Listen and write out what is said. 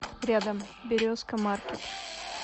рядом березка маркет